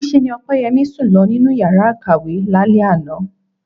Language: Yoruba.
Níṣe ni Ọpẹ́yẹmí sùn lọ nínú yàrá ìkàwé lálẹ́ àná